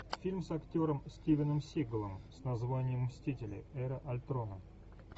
фильм с актером стивеном сигалом с названием мстители эра альтрона